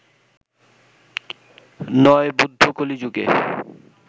৯. বুদ্ধ, কলি যুগে